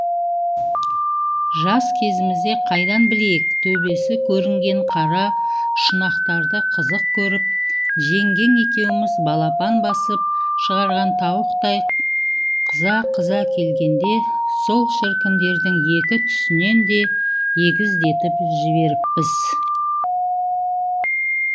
жас кезімізде қайдан білейік төбесі көрінген қара шұнақтарды қызық көріп жеңгең екеуміз балапан басып шығарған тауықтай қыза қыза келгенде сол шіркіндердің екі түсінен де егіздетіп жіберіппіз